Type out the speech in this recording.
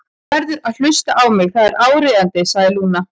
Þú verður að hlusta á mig, það er áríðandi, sagði Lúna.